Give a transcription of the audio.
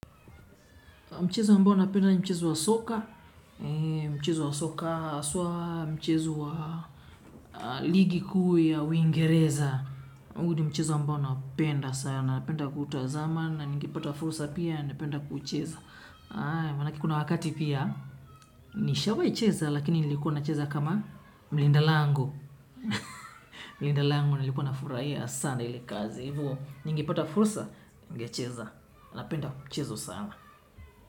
Mchezo ambao napenda ni mchezo wa soka, mchezo wa soka haswa, mchezo wa ligi kuu ya, uingereza. Huu ni mchezo ambao naupenda sana, napenda kuutazama, na ningepata fursa pia, napenda kuucheza. Maanake kuna wakati pia, nishawahi cheza, lakini nilikuwa nacheza kama mlinda lango. Mlinda lango nilikuwa na furahia sana ile kazi. Ningepata fursa, ningecheza, napenda mchezo sana.